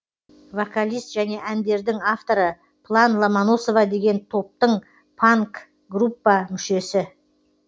вокалист және әндердің авторы план ломоносова деген топтың панк группа мүшесі